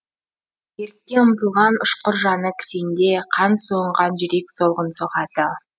ерікке ұмтылған ұшқыр жаны кісенде қан суынған жүрек солғын соғады